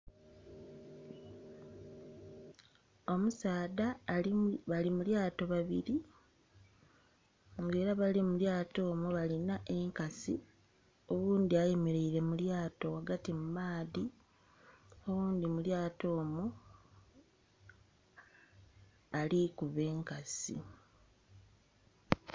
Omusaadha bali mu lyaato babiri nga era abali mu lyaato omwo balina enkasi, oghundhi ayemereire mu lyaato ghagati mu maadhi, oghundhi mu lyaato omwo ali kuba enkasi.